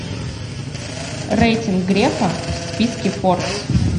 рейтинг грефа в списке форбс